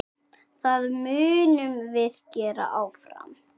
Það munum við gera áfram.